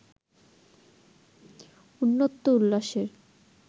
উ্নত্ত উল্লাসের